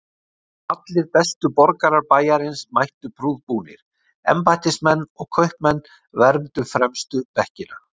Allir bestu borgarar bæjarins mættu prúðbúnir, embættismenn og kaupmenn vermdu fremstu bekkina.